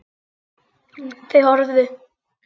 Þau horfðu.